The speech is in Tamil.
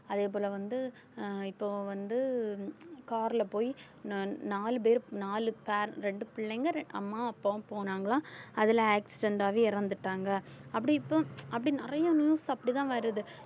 அதே போல வந்து அஹ் இப்போ வந்து car ல போய் நான் நாலு பேர் நாலு pair ரெண்டு பிள்ளைங்க ரெ~ அம்மா அப்பாவும் போனாங்களாம் அதுல accident ஆவே இறந்துட்டாங்க அப்படி இப்ப அப்படி நிறைய news அப்படிதான் வருது